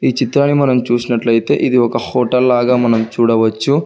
ఈ చిత్రాన్ని మనం చూసినట్లయితే ఇది ఒక ఒక్క హోటల్ లాగా చూడవచ్చు.